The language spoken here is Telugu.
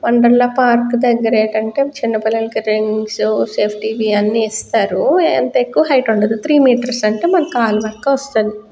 వండరెళ్ళ పార్క్ దగ్గర ఏటంటే చిన్న పిల్లలకి రింగ్స్ సేఫ్టీ కి అన్నీ ఇస్తారు అంత ఎక్కువ హైట్ వుండదు త్రీ మీటర్స్ అంటే మన కళ్ళు దాక ఒస్తది.